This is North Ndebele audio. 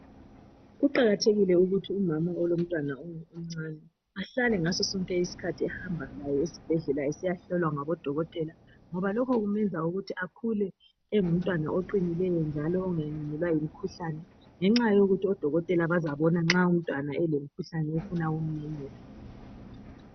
Kuqakathekile ukuthi umama olomntwana omcane ahlale ngaso sonke isikhathi ehamba laye esibhedlela esiyahlolwa ngabodokotela, ngoba lokho kumenza akhule engumntwana oqinileyo njalo ongalandelelwa yimkhuhlane ngenxa yokuthi odokotela bazabona nxa umntwana elemkhuhlane efuna ukumnyenyela.